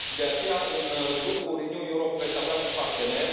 De aceea, în Grupul Renew Europe veți avea un partener.